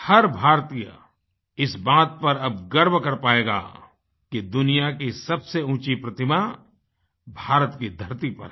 हर भारतीय इस बात पर अब गर्व कर पायेगा कि दुनिया की सबसे ऊँची प्रतिमा भारत की धरती पर है